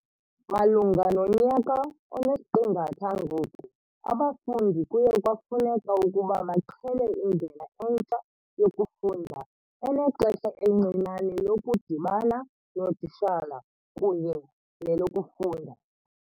"Malunga nonyaka onesiqingatha ngoku, abafundi kuye kwafuneka ukuba baqhele indlela entsha yokufunda, enexesha elincinane lokudibana nootitshala kunye nelokufunda."